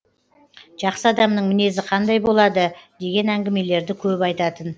жақсы адамның мінезі қандай болады деген әңгімелерді көп айтатын